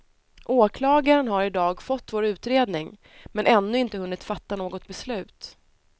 Åklagaren har i dag fått vår utredning, men ännu inte hunnit fatta något beslut.